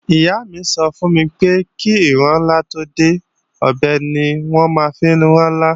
Ìyá mi sọ fún mi pé kí ìrinlá tó dé, ọ̀bẹ ni wọ́n máa ń fi rẹ́lá